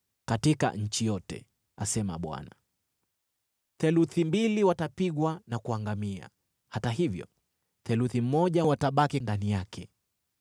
katika nchi yote,” asema Bwana , “theluthi mbili watapigwa na kuangamia; hata hivyo theluthi moja watabaki ndani yake.